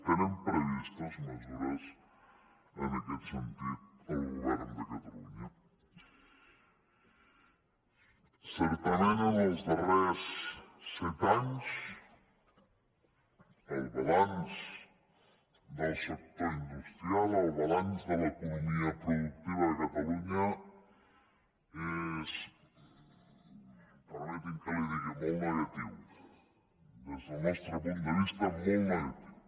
té previstes mesures en aquest sentit el govern de catalunya certament en els darrers set anys el balanç del sector industrial el balanç de l’economia productiva a catalunya és permeti’m que li ho digui molt negatiu des del nostre punt de vista molt negatiu